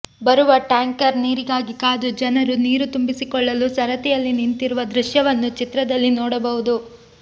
ಬರುವ ಟ್ಯಾಂಕರ್ ನೀರಿಗಾಗಿ ಕಾದು ಜನರು ನೀರು ತುಂಬಿಸಿಕೊಳ್ಳಲು ಸರತಿಯಲ್ಲಿ ನಿಂತಿರುವ ದೃಶ್ಯವನ್ನು ಚಿತ್ರದಲ್ಲಿ ನೋಡಬಹುದು